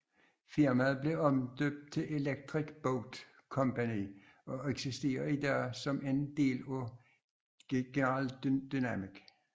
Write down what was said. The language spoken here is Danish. Firmaet blev omdøbt til Electric Boat Company og eksisterer i dag som en del af General Dynamics